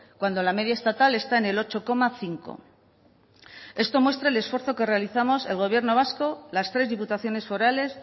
cuando la media estatal está en el ocho coma cinco por ciento esto muestra el esfuerzo que realizamos el gobierno vasco las tres diputaciones forales